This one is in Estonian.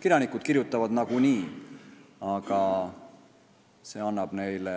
Kirjanikud kirjutavad nagunii, aga see annab neile